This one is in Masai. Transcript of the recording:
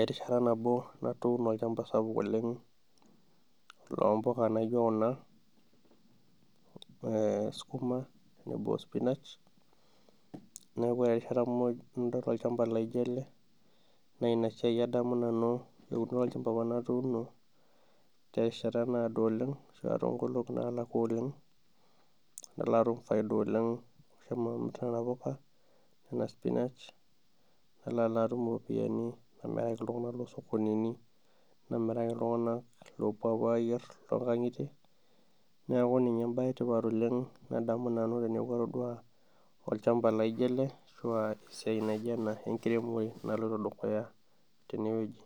erishata nabo natuduno olchampa sapuk oleng loompuka naijo kuna skuma tenebo ospinach .neeku ore erishata muj nadol olchampa laijo ele na ina siai adamu nanu eunore olchampa apa natuduno ,terishata naado oleng toonkolongi nalakua oleng nalo atum faida oleng tenena puka ospinach nalo alo atum ropiyiani namiraki iltunganak loosokonini ,namiraki iltunganak loopuo apuo ayier toonkangitei ,neeku ninye embae etipat oleng nadamu nanu teneeku atodua olchampa laijo ele ashua esiai naijo ena enkiremore naloito dukuya teneweji.